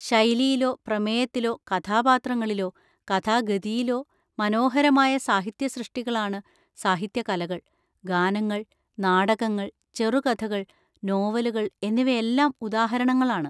ശൈലിയിലോ പ്രമേയത്തിലോ കഥാപാത്രങ്ങളിലോ കഥാഗതിയിലോ മനോഹരമായ സാഹിത്യസൃഷ്ടികളാണ് സാഹിത്യ കലകൾ. ഗാനങ്ങൾ, നാടകങ്ങൾ, ചെറുകഥകൾ, നോവലുകൾ എന്നിവയെല്ലാം ഉദാഹരണങ്ങളാണ്.